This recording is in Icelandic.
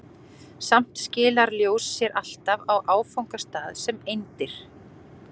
Samt skilar ljós sér alltaf á áfangastað sem eindir.